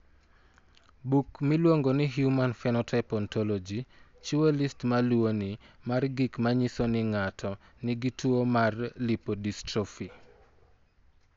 Buk miluongo ni Human Phenotype Ontology chiwo list ma luwoni mar gik ma nyiso ni ng'ato nigi tuo mar lipodystrophy.